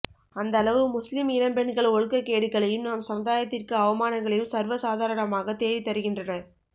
அந்தளவு முஸ்லிம் இளம் பெண்கள் ஒழுக்ககேடுகளையும் நம் சமுதாயத்திற்க்கு அவமானங்களையும் சர்வ சாதாரணமாக தேடி தருகின்றனர்